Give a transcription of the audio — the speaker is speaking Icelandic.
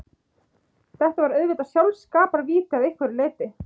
Þetta var auðvitað sjálfskaparvíti að einhverju leyti.